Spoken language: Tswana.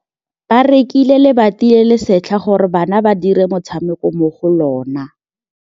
Ba rekile lebati le le setlha gore bana ba dire motshameko mo go lona.